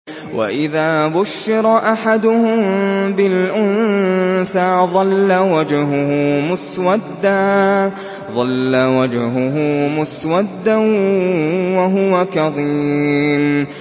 وَإِذَا بُشِّرَ أَحَدُهُم بِالْأُنثَىٰ ظَلَّ وَجْهُهُ مُسْوَدًّا وَهُوَ كَظِيمٌ